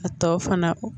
A tɔ fana